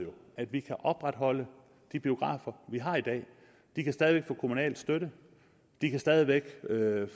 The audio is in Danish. at vi kan opretholde de biografer vi har i dag de kan stadig væk få kommunal støtte de kan stadig væk